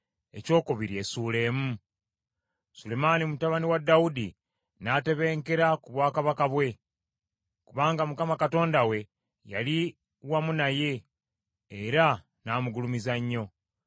Sulemaani mutabani wa Dawudi n’atebenkera ku bwakabaka bwe, kubanga Mukama Katonda we yali wamu naye, era n’amugulumiza nnyo.